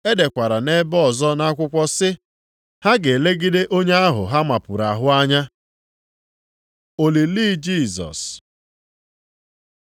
E dekwara nʼebe ọzọ nʼakwụkwọ sị, “Ha ga-elegide onye ahụ ha mapuru ahụ anya.” + 19:37 \+xt Zek 12:10\+xt* Olili Jisọs